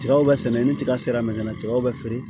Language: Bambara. Tigaw bɛ sɛnɛ ni tiga sera la tigaw be feere